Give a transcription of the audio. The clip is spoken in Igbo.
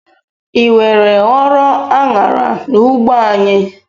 ị were ghọọrọ Anyara n'ugbo anyị?